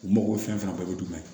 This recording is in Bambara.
U mago bɛ fɛn fɛn ye jumɛn ye